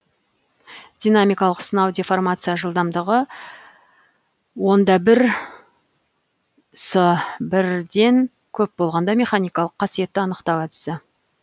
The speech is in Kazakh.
динамикалық сынау деформация жылдамдығы он да бір с бірден көп болғанда механикалық қасиетті анықтау әдісі